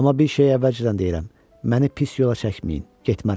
Amma bir şey əvvəlcədən deyirəm: məni pis yola çəkməyin, getmərəm.